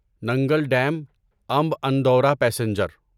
Nangal dam Amb Andaura passenger